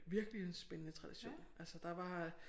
Virkelig en spændende tradition altså der var